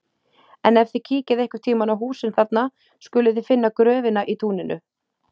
En ef þið kíkið einhvern tímann á húsin þarna skuluð þið finna gröfina í túninu.